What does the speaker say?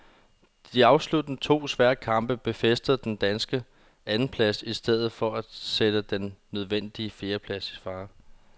De afsluttende to svære kamp befæstede den danske andenplads i stedet for at sætte den nødvendige fjerdeplads i fare.